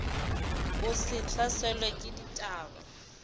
o se hlaselwe ke dibata